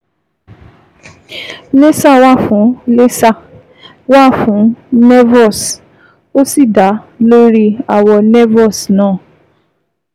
Laser wà fún Laser wà fún nevus, ó sì dá lórí àwọ̀ nevus náà